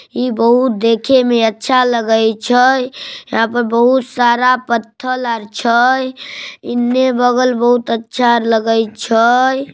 ई बहुत देखे में अच्छा लगई छे यहाँ पर बहुत सारा पत्थल छे एन्ने बगल बहुत अच्छा लगई छे।